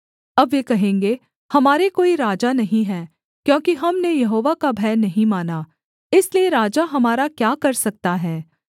अब वे कहेंगे हमारे कोई राजा नहीं है क्योंकि हमने यहोवा का भय नहीं माना इसलिए राजा हमारा क्या कर सकता है